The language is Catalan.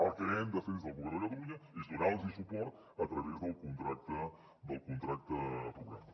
el que hem de fer des del govern de catalunya és donar los suport a través del contracte programa